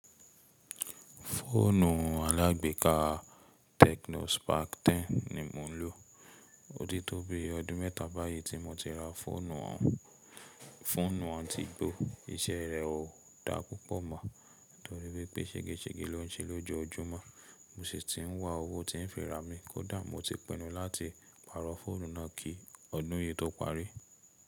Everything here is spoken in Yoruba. Fóònù alágbééká Tecno Spark 10 ni mo ń lò. Ó ti tó bi ọdún mẹ́ta báyìí tí mo ti ra fóònù àǹtí gbó. Iṣẹ́ rẹ̀ ò dá púpọ̀ mọ́ torí wípé ṣégeṣége lo ń ṣe ló jojúmọ́. Mo sì ti ń wá owó tí ń fẹ́ ra mi kódà mo ti pinu láti pàrọ̀ fóònù náà kí ọdún yìí tó parí.